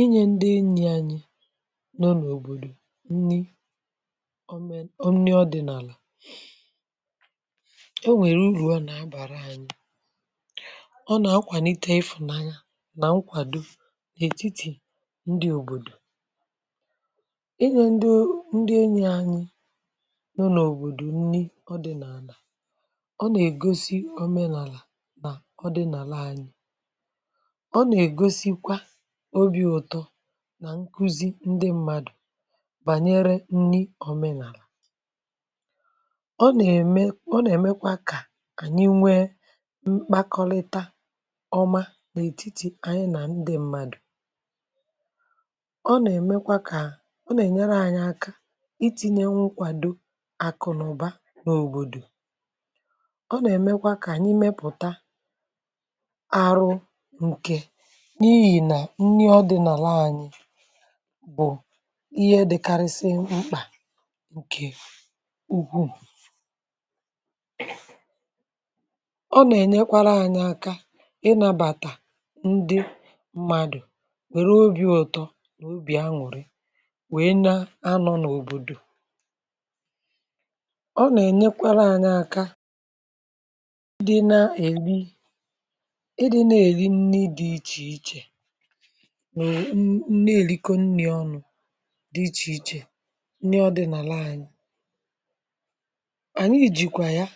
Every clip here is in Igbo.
Inyė ndị enyì anyị nọ n’òbòdò nnị omen nni ọdị̀nàlà o nwèrè uru ọ nà-abàra anyị̇. Ọ nà akwànite ịfụ̀nanya nà nkwàdo n’ètitì ndị òbòdò. Inyė ndị, ndị enyị anyị nọ̀ n’òbòdò nnị ọdị̀ n’àlà ọ nà-ègosi òmenàlà nà ọdị̀nàla. Ọ na-egosikwa obi uto nà nkuzi ndị mmadụ̀ bànyere nni omenàlà. Ọ nà-ème ọ nà-èmekwa kà ànyị nwee mkpakọlịta ọma n’ètitì ànyị nà ndị mmadụ̀. Ọ nà-èmekwa kà ọ nà-ènyere anyị aka itinye nwukwàdo àkụ na ụ̀ba nà òbòdò. Ọ nà-èmekwa kà ànyị mepụ̀ta arụ ike, n'ihi na nni ọdịnala anyị bụ̀ ihe dị̇karịsị mkpà ǹkè ukwuu. Ọ nà-ènyekwara anyị aka ịnàbàtà ndị mmadụ̀ nwèrè obi̇ ụtọ nà obì aṅụ̀rị wèe na-anọ̇ n’òbòdò. Ọ nà-ènyekwara anyị aka dị na-èri ịdị nà-èri nni dị̇ ichè ichè nù nee èrikọ̀ nni̇ ọnụ̇ dì ichè ichè, nni ọdi̇nàla ànyị. Ànyị jìkwà ya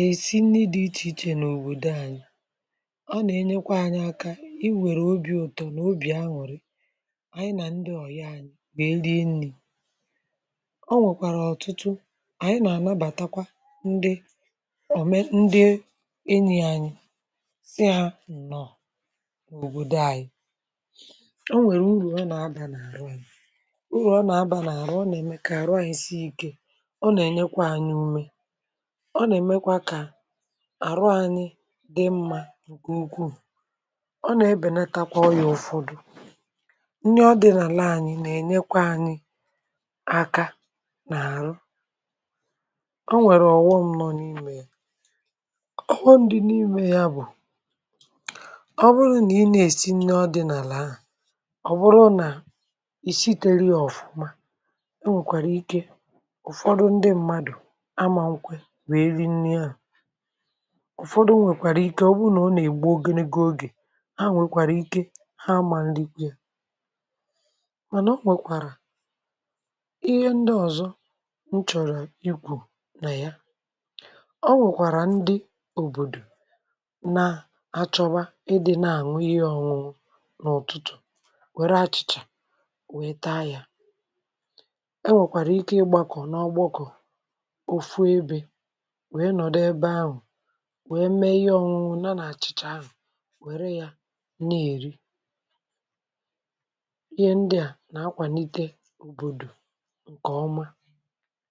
èsi nni̇ dì ichè ichè n'òbòdo ànyị. Ọ nà enyekwa anyị aka i wère obi̇ ụ̀tọ nà obì aṅụ̀rị ànyị nà ndị ọ̀yi anyị wèe rie nni̇. Ọ nwèkwàrà ọ̀tụtụ ànyị nà ànabàtakwa ndị ọ̀me ndị enyì ànyị si ha nnọ̀ n'òbòdo ànyị. O nwèrè urù ọ nà-abà n’àrụ urù. Urù ọ nà-abà n’àrụ nà-ème kà àrụ anyị sie ikė. Ọ nà-ènyekwa anyị ume. Ọ nà-èmekwa kà àrụ anyị dị mmȧ nke ukwuu. Ọ nà-ebènetakwa ọyà ụfọdụ. Nri ọdị̇nàlaa anyị̇ nà-ènyekwa anyị aka n’àrụ. O nwèrè ọ̀wụm ṅọ n’imė ya. Ọwụmụ̀ dị n’ime ya bụ̀, ọ bụrụ nà ì na esi nni ọdị̇nàlaa ahụ, ọ bụrụ na -isiteghi ya ọ̀fụ̀ma e nwèkwàrà ike ụ̀fọdụ ndị mmadụ̀ amà nkwe wee ri nia. Ụ̀fọdụ nwèkwàrà ike ọ bụ nà ọ nà-ègbu ogenege ogè ha nwèkwàrà ike ha mà nrikwė e. Mànà ọ nwèkwàrà ihe ndị ọ̀zọ nchọ̀rọ̀ ikwù nà ya, ọ nwèkwàrà ndị òbòdò nà achọba ịdị nà àṅụ ihe ọ̀ṅụṅụ n'ututu wère achị̀chà wèe taa yȧ. E nwèkwàrà ike ịgbȧkọ̀ n’ọgbọkụ̀ ofu ebė wèe nọ̀dụ ebe ahụ̀ wèe mee ihe ọṅụṅụ na nà-àchị̀chà ahụ̀ wère yȧ na-èri. Ihe ndị à nà-akwàlite òbòdò ǹkèọma.